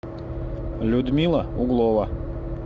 людмила углова